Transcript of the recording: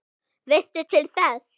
Veistu til þess?